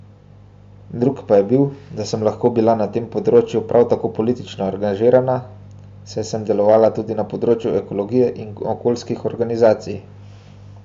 Drug pa je bil, da sem lahko bila na tem področju prav tako politično angažirana, saj sem delovala tudi na področju ekologije in okoljskih organizacij.